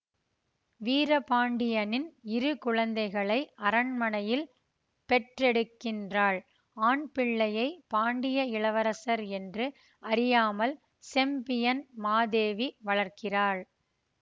வீரபாண்டியனின் இரு குழந்தைகளை அரண்மனையில் பெற்றெடுக்கின்றாள் ஆண் பிள்ளையை பாண்டிய இளவரசர் என்று அறியாமல் செம்பியன் மாதேவி வளர்க்கிறார்